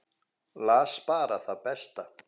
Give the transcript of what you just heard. Las bara það besta.